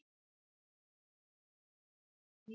Vill lækka álögur um hálfan milljarð